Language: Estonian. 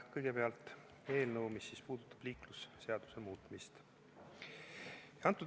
Kõigepealt eelnõu, mis puudutab liiklusseaduse muutmist.